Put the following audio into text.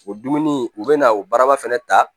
O dumuni u bɛ na o baraba fɛnɛ ta